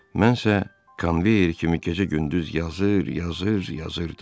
Mənsə konveyer kimi gecə-gündüz yazır, yazır, yazırdım.